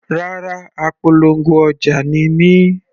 Rárá, apolongo ọjà ni mí.